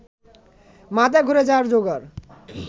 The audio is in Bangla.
মাথা ঘুরে যাওয়ার জোগাড়